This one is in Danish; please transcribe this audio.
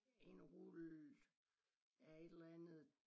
En rulle af et eller andet